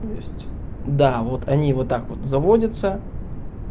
то есть да вот они вот так вот заводятся